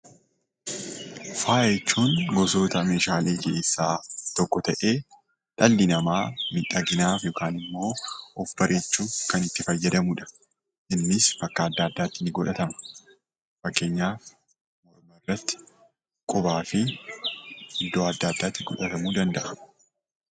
Faaya jechuun gosoota meeshaalee keessaa tokko ta'ee dhalli namaa miidhaginaaf yookaan of bareechuuf kan itti fayyadamudha. Innis bakka adda addaatti godhatama. Fakkeenyaaf qubaa fi iddoo adda addaatti godhatamuu danda'a.